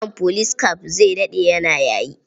Kitson police cap zai daɗe yana yayi.